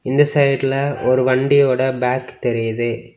இந்த சைடுல ஒரு வண்டியோட பேக் தெரியுது.